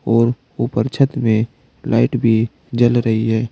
और ऊपर छत में लाइट भी जल रही है।